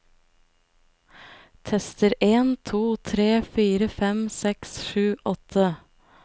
Tester en to tre fire fem seks sju åtte